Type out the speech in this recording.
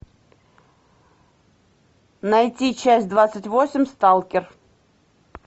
найти часть двадцать восемь сталкер